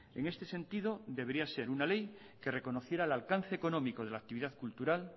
en este sentido debería ser una ley que reconociera el alcance económico de la actividad cultural